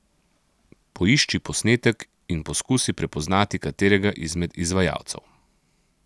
Poišči posnetek in poskusi prepoznati katerega izmed izvajalcev.